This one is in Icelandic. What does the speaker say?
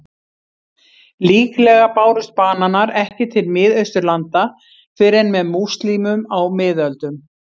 Líklega bárust bananar ekki til Miðausturlanda fyrr en með múslímum á miðöldum.